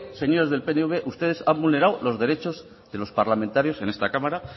señores del pnv ustedes ha vulnerado los derechos de los parlamentarios en esta cámara